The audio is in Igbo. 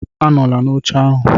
Anọla n'oche ahụ